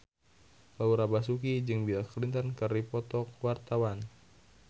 Laura Basuki jeung Bill Clinton keur dipoto ku wartawan